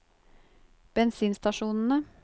bensinstasjonene